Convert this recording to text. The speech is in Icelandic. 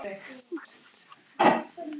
Og hún kenndi mér margt.